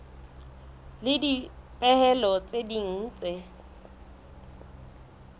le dipehelo tse ding tse